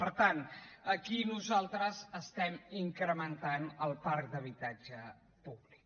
per tant aquí nosaltres estem incrementant el parc d’habitatge públic